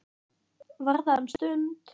Var þar um stund.